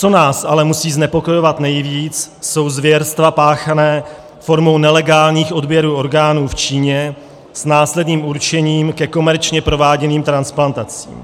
Co nás ale musí znepokojovat nejvíc, jsou zvěrstva páchaná formou nelegálních odběrů orgánů v Číně s následným určením ke komerčně prováděným transplantacím.